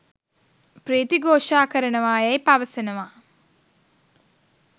පී්‍රති ඝෝෂා කරනවා යැයි පවසනවා.